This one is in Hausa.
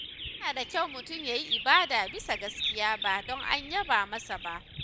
Yana da kyau mutum ya yi ibada bisa gaskiya, ba don a yaba masa ba.